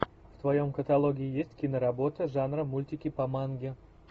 в твоем каталоге есть киноработа жанра мультики по манге